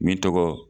Min tɔgɔ